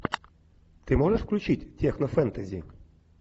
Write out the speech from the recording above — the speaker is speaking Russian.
ты можешь включить технофэнтези